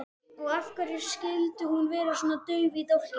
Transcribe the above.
Og af hverju skyldi hún vera svona dauf í dálkinn?